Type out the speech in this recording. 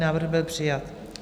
Návrh byl přijat.